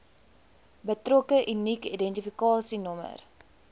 betrokke unieke identifikasienommer